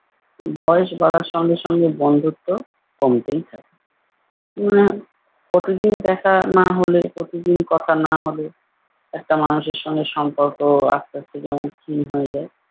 উম বয়স বাড়ার সঙ্গে সঙ্গে বন্ধুত্ব কমতেই থাকে। উম প্রতিদিন দেখা না হলে প্রতিদিন কথা না হলে একটা মানুষের সঙ্গে সম্পর্ক আস্তে আস্তে যেমন ক্ষীণ হয়ে যায়।